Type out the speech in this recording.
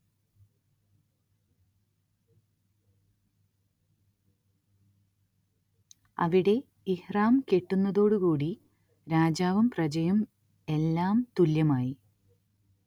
അവിടെ ഇഹ്റാം കെട്ടുന്നതോടുകൂടി രാജാവും പ്രജയും എല്ലാം തുല്യമായി